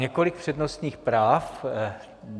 Několik přednostních práv.